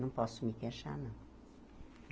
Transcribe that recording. Não posso me queixar, não.